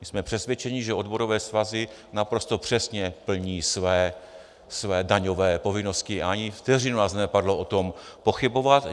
My jsme přesvědčeni, že odborové svazy naprosto přesně plní své daňové povinnosti, a ani vteřinu nás nenapadlo o tom pochybovat.